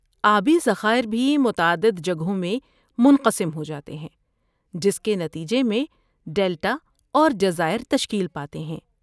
آبی ذخائر بھی متعدد جگہوں میں منقسم ہو جاتے ہیں جس کے نتیجے میں ڈیلٹا اور جزائر تشکیل پاتے ہیں۔